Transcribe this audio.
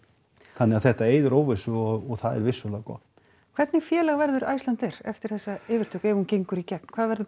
þannig að þetta eyðir óvissu og það er vissulega gott hvernig félag verður Icelandair eftir þessa yfirtöku ef hún gegnur í gegn hvað verður